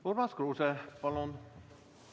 Urmas Kruuse, palun!